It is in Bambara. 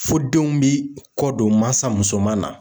Fo denw bi kɔ don mansa musoman na.